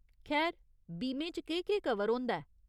खैर, बीमे च केह् केह् कवर होंदा ऐ ?